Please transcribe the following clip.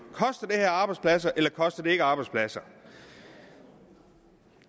arbejdspladser eller koster det ikke arbejdspladser